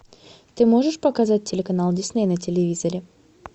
ты можешь показать телеканал дисней на телевизоре